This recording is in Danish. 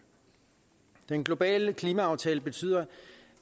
den globale klimaaftale betyder